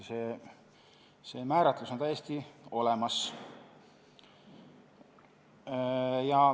See määratlus on täiesti olemas.